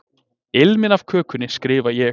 Ilminn af kökunni, skrifa ég.